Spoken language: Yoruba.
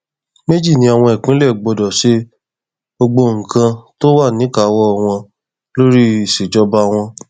méjì ni àwọn ìpínlẹ gbọdọ ṣe gbogbo nǹkan tó wà níkàáwọ wọn lórí ìṣèjọba wọn